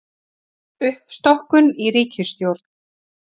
Uppstokkun í ríkisstjórn